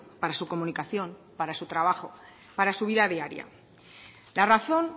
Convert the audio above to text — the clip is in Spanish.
para su comunicación para su trabajo para su vida diaria la razón